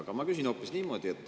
Aga ma küsin hoopis niimoodi.